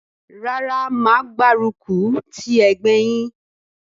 Rárá mà á gbárùkù ti ẹgbẹ́ yín.